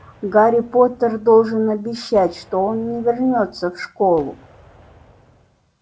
гарри поттер должен обещать что он не вернётся в школу